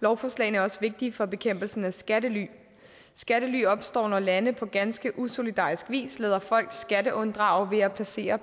lovforslagene er også vigtige for bekæmpelsen af skattely skattely opstår når lande på ganske usolidarisk vis lader folk skatteunddrage ved at placere